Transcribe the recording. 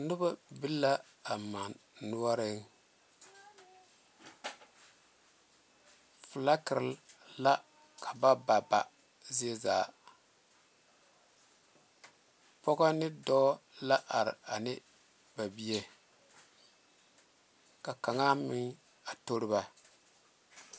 Noba be la a mane noɔreŋ felakere la ka ba ba ba zie zaa pɔge ne dɔɔ la are ane ba bie ka kaŋa meŋ a tori ba.